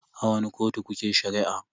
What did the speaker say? A wani kotu kuke Shari'a?